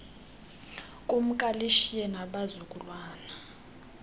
kumka lishiye nabazukulwana